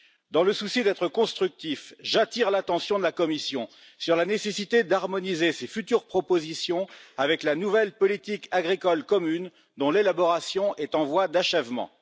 Dans le souci d'être constructif, j'attire l'attention de la Commission sur la nécessité d'harmoniser ses futures propositions avec la nouvelle politique agricole commune, dont l'élaboration est en voie d'achèvement.